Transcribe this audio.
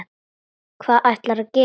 Hvað ætlarðu að gera?